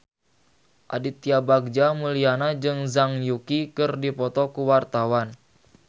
Aditya Bagja Mulyana jeung Zhang Yuqi keur dipoto ku wartawan